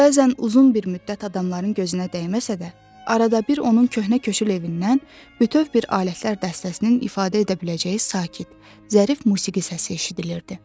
Bəzən uzun bir müddət adamların gözünə dəyməsə də, arada bir onun köhnə köşkül evindən bütöv bir alətlər dəstəsinin ifadə edə biləcəyi sakit, zərif musiqi səsi eşidilirdi.